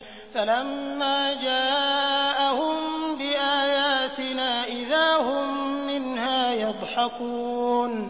فَلَمَّا جَاءَهُم بِآيَاتِنَا إِذَا هُم مِّنْهَا يَضْحَكُونَ